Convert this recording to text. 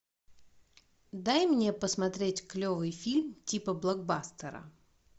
дай мне посмотреть клевый фильм типа блокбастера